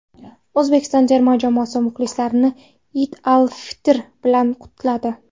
O‘zbekiston terma jamoasi muxlislarni Iyd al-Fitr bilan qutladi.